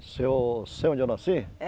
Se eu sei onde eu nasci?